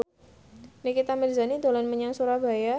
Nikita Mirzani dolan menyang Surabaya